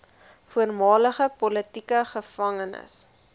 voormalige politieke gevangenes